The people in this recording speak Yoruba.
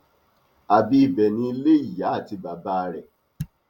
àbí ibẹ ni ilé ìyá àti bàbá rẹ